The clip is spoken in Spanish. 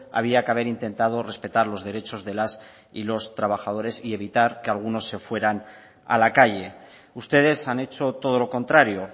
había que haber intentado respetar los derechos de las y los trabajadores y evitar que algunos se fueran a la calle ustedes han hecho todo lo contrario